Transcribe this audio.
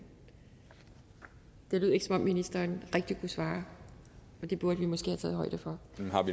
det lød ikke som om ministeren rigtig kunne svare og det burde vi måske have taget højde for